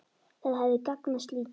Það hefði gagnast lítið.